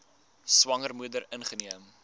swanger moeder ingeneem